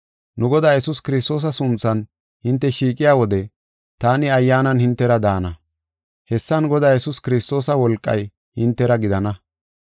Nu Godaa Yesuus Kiristoosa sunthan hinte shiiqiya wode taani ayyaanan hintera daana. Hessan Godaa Yesuus Kiristoosa wolqay hintera gidana.